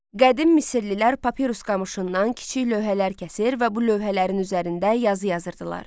Qədim Misirlilər papirus qamışından kiçik lövhələr kəsir və bu lövhələrin üzərində yazı yazırdılar.